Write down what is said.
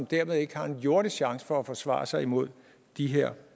dermed ikke har en jordisk chance for at forsvare sig imod de her